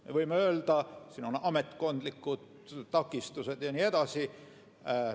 Me võime öelda, et on ametkondlikud takistused ja nii edasi.